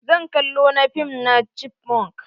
Zan kallo na fim na chipmonk.